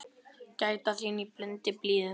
Gæta þín í blundi blíðum.